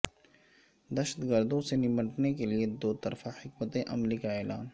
دہشت گردوں سے نمٹنے کے لیے دو طرفہ حکمت عملی کا اعلان